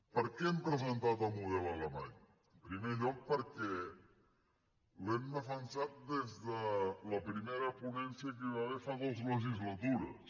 per què hem presentat el model alemany en primer lloc perquè l’hem defensat des de la primera ponència que hi va haver fa dues legislatures